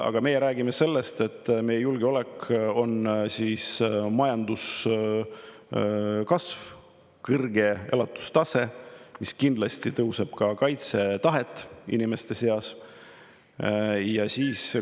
Aga meie räägime sellest, et meie julgeolek on majanduskasv ja kõrge elatustase, mis kindlasti tõstab ka inimeste kaitsetahet.